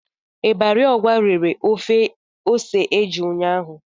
Ibari Ogwa rere ofe ose eju ụnyahụ.